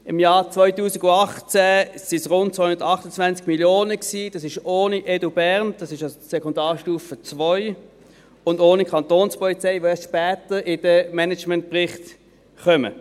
Im Jahr 2018 waren es rund 228 Mio. Franken, dies ohne EDUBERN, auf Sekundarstufe II, und auch ohne Kantonspolizei, die später in den Managementbericht kommen.